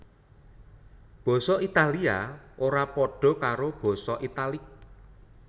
Basa Italia ora padha karo basa Italik